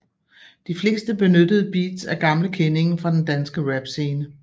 De fleste benyttede beats er gamle kendinge fra den danske rap scene